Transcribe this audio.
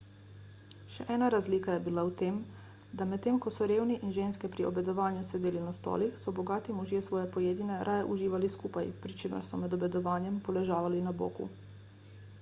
še ena razlika je bila v tem da medtem ko so revni in ženske pri obedovanju sedeli na stolih so bogati možje svoje pojedine raje uživali skupaj pri čemer so med obedovanjem poležavali na boku